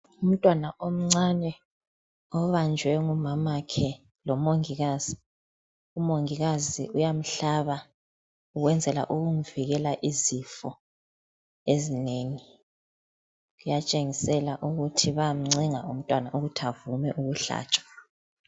Umtwana omcane obanjwe ngumamakhe lomongikazi. Umongikazi uyamhlaba ukwenzela ukumvikela izifo ezinengi. Kuyatshengisela ukuthi bayamcenga umntwana ukuthi avume ukuhlatshwa.